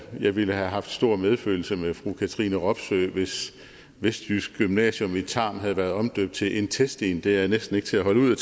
jeg ville have haft stor medfølelse med fru katrine robsøe hvis vestjysk gymnasium i tarm havde været omdøbt til intestin det er næsten ikke til at holde ud